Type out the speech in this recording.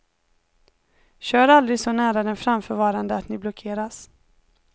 Kör aldrig så nära den framförvarande att ni blockeras.